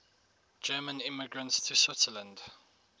german immigrants to switzerland